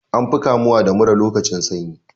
An fi kamuwa da mura lokacin sanyi.